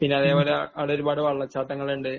പിന്നെ അതേപോലെ അവിടെ ഒരുപാട് വെള്ളച്ചാട്ടങ്ങൾ ഉണ്ട്.